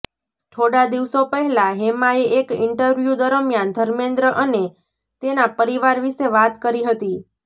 થોડા દિવસો પહેલા હેમાએ એક ઇન્ટરવ્યુ દરમિયાન ધર્મેન્દ્ર અને તેના પરિવાર વિશે વાત કરી હતી